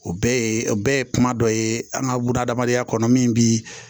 O bɛɛ ye o bɛɛ ye kuma dɔ ye an ka bunahadamadenya kɔnɔ min bi